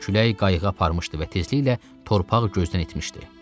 Külək qayığı aparmışdı və tezliklə torpaq gözdən itmişdi.